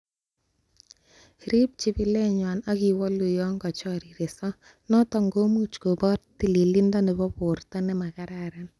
Riib chibilenywan ak iwolu yon kochoriresoo, noton komuch kobor tilindo nebo borto nemakaraan.